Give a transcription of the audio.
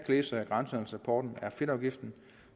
læse af grænsehandelsrapporten er fedtafgiften